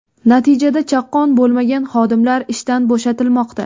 Natijada chaqqon bo‘lmagan xodimlar ishdan bo‘shatilmoqda.